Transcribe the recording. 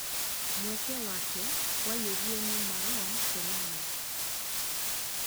mweke wake waiyũririo ni Marouane Fellani